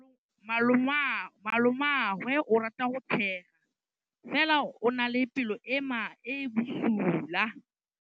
Malomagwe o rata go tshega fela o na le pelo e e bosula.